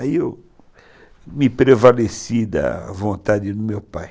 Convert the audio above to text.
Aí eu me prevaleci da vontade do meu pai.